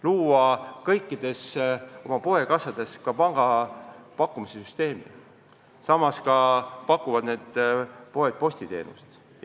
Coop on suutnud kõikide poodide kassades luua pangateenuse pakkumise süsteemi ja need poed pakuvad ka postiteenust.